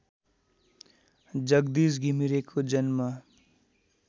जगदीश घिमिरेको जन्म